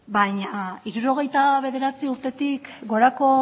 baina hirurogeita bederatzi urtetik gorako